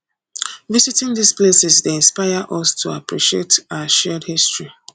visiting these places dey inspire us to appreciate our shared history